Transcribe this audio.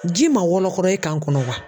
Ji man wɔlɔkɔlɔ e kan kɔnɔ wa?